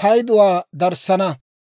payduwaa darissana.